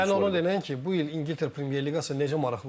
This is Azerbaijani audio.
Sən onu denən ki, bu il İngiltərə Premyer Liqası necə maraqlı olacaq.